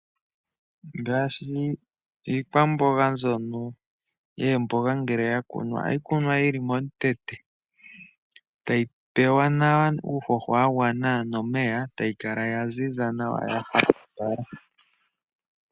Ngaashi iikwamboga mbyono yoomboga ngele ya kunwa ohayi kunwa yi li melandulathano, tayi pewa nawa uuhoho wa gwana nomeya, tayi kala ya ziza nawa hapuka nawa.